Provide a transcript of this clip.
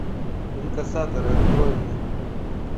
инкассаторы открой мне